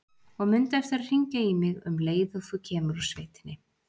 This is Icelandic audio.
Og mundu eftir að hringja í mig um leið og þú kemur úr sveitinni.